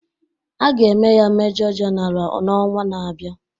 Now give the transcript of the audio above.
A ga-eme ya Mejọ Jenara n'ọnwa na-abịa.